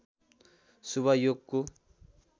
शुभ योगको